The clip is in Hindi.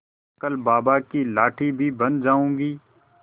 कल बाबा की लाठी भी बन जाऊंगी